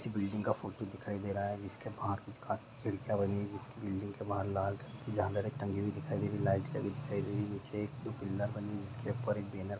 किसी बिल्डिंग का फोटो दिखाई दे रहा है जिसके बाहर कुछ कांच की खिड़कियां बनी हुई है जिसके बिल्डिंग के बाहर लाल टंगी हुई दिखाई दे रही लाइट लगी हुई दिखाई दे रही नीचे एक-दो पिलर बनी हुई है जिसके ऊपर एक बैनर --